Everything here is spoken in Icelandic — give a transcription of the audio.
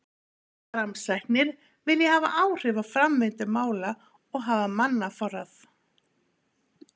Framsæknir vilja hafa áhrif á framvindu mála og hafa mannaforráð.